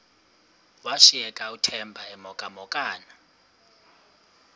washiyeka uthemba emhokamhokana